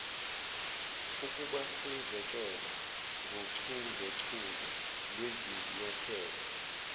ukubahlinzekela ngochungechunge lwezinyathelo